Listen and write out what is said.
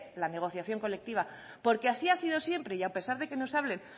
la negociación colectiva porque así ha sido siempre y a pesar de que nos hablen